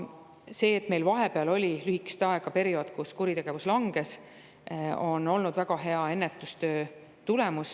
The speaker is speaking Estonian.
See, et meil vahepeal oli lühike periood, kui kuritegevus langes, oli väga hea ennetustöö tulemus.